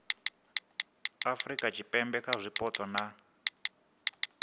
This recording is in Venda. afurika tshipembe kha zwipotso na